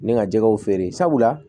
Ne ka jɛgɛw feere sabula